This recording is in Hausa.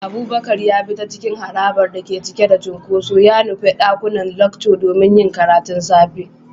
Abubakar ya bi ta cikin harabar da ke cike da cunkoso, ya nufi ɗakunan lecture domin yin karatun safe.